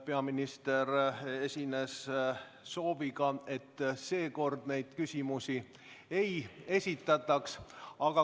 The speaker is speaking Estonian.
Peaminister esines aga sooviga, et seekord neid küsimusi ei esitataks.